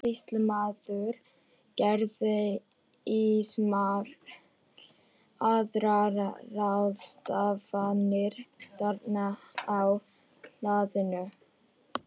Sýslumaður gerði ýmsar aðrar ráðstafanir þarna á hlaðinu.